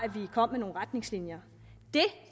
vi kom med nogle retningslinjer det